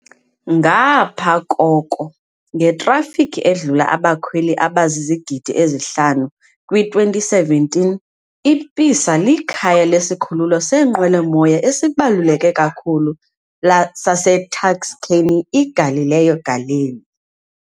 Ngapha koko, ngetrafikhi edlula abakhweli abazizigidi ezi-5 kwi-2017, iPisa likhaya lesikhululo seenqwelomoya esibaluleke kakhulu saseTuscany, iGalileo Galilei.